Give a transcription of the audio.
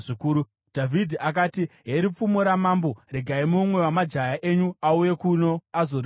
Dhavhidhi akati, “Heri pfumo ramambo. Regai mumwe wamajaya enyu auye kuno azoritora.